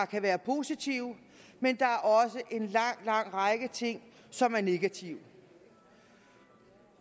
kan være positive men der er også en lang lang række ting som er negative